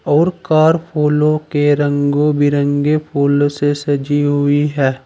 और कार फूलों के रंगों बिरंगे फूल से सजी हुई है।